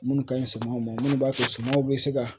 Minnu ka ɲi sumanw ma minnu b'a to sumaw bɛ se ka